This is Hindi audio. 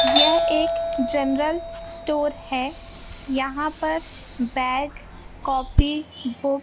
यह एक जेनरल स्टोर है यहां पर बैग कॉफी बु--